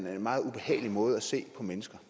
er en meget ubehagelig måde at se på mennesker